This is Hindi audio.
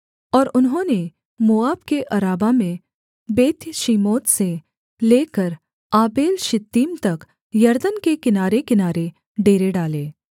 और उन्होंने मोआब के अराबा में बेत्यशीमोत से लेकर आबेलशित्तीम तक यरदन के किनारेकिनारे डेरे डाले